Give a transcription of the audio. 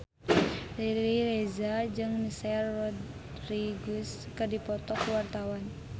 Riri Reza jeung Michelle Rodriguez keur dipoto ku wartawan